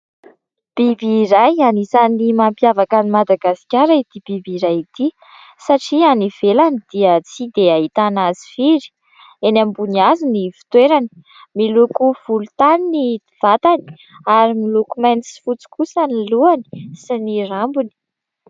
Biby iray, anisan'ny mampiavaka an'i Madagasikara ity biby iray ity satria any ivelany dia tsy dia ahitana azy firy ; eny ambony hazo ny fitoerany, miloko volontany ny vatany ary miloko mainty sy fotsy kosa ny lohany sy ny rambony.